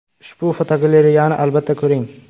Ushbu fotogalereyani albatta ko‘ring .